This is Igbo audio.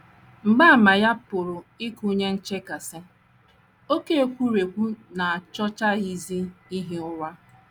Mgbaàmà ya pụrụ ịgụnye nchekasị, oké ekwurekwu, na achọchaghịzi ihi ụra.